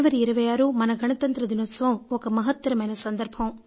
జనవరి 26 మన గణతంత్ర దినోత్సవం ఒక మహత్తరమైన సందర్భం